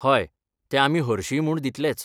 हय, ते आमी हरशींय म्हूण दितलेच.